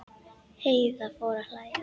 Heiða fór að hlæja.